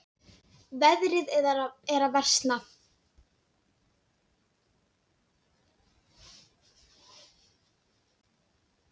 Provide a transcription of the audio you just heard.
Veðrið er að versna.